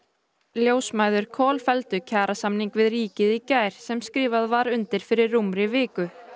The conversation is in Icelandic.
ljósmæður kolfelldu kjarasamning við ríkið í gær sem skrifað var undir fyrir rúmri viku